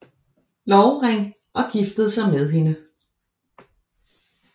Lovering og giftede sig med hende